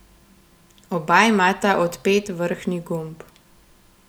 Oba imata odpet vrhnji gumb.